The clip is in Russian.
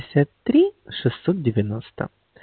шестьдесят три шестьсот девяносто